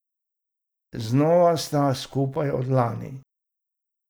Znova sta skupaj od lani.